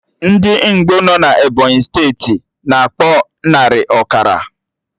Ndị Ngbo nọ na Ebọnyị steeti, na akpọ narị, ọkara